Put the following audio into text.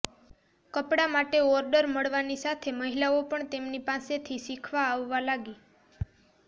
કપડા માટે ઓર્ડર મળવાની સાથે મહિલાઓ પણ તેમની પાસેથી શીખવા આવવા લાગી